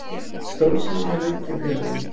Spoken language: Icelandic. Stórsigur hjá Hauki og félögum